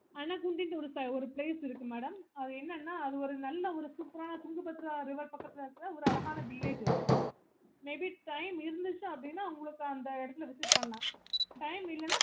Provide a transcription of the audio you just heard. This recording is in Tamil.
ஒரு place இருக்கு madam அது என்னன்னா அது நல்ல ஒரு அழகா இருக்குற tugabhadra river பக்கத்துல இருக்குற ஒரு அழகான village அது maybe time இருந்துச்சு அப்பிடின்னா உங்களுக்கு அந்த இடத்தை visit பண்ணலாம்